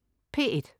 P1: